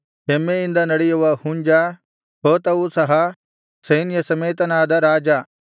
ಹೆಮ್ಮೆಯಿಂದ ನಡೆಯುವ ಹುಂಜ ಹೋತವು ಸಹ ಸೈನ್ಯಸಮೇತನಾದ ರಾಜ